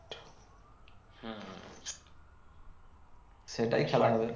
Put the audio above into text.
সেটাই খেলা হবে